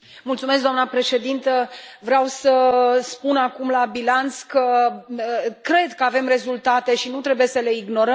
Doamnă președintă, vreau să spun acum, la bilanț, că cred că avem rezultate și nu trebuie să le ignorăm.